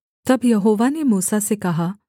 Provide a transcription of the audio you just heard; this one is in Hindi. तब यहोवा ने मूसा से कहा